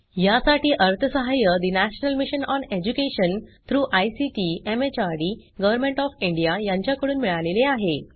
यासाठी अर्थसहाय्य national mission on education through ICT MHRD government of India यांच्याकडून मिळालेले आहे